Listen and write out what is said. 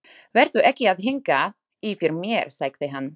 Vertu ekki að hanga yfir mér, sagði hann.